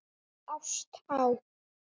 Ást á